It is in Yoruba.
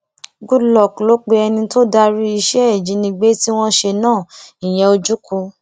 goodluck ló pe ẹni tó darí iṣẹ ìjínigbé tí wọn ṣe náà ìyẹn ojukwu